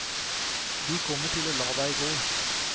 De kommer til å la deg gå.